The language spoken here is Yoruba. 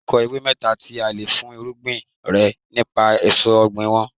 Dárúkọ ewé mẹ́ta tí a le fúnrúgbìn rẹ nípa èso ọ̀gbìn wọn.